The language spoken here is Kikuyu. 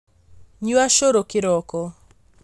Nyua cũrũ kĩroko